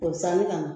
K'o saniya ka na